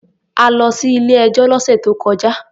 A lọ sí ilé-ẹjọ́ lọ́sè tó kọjá.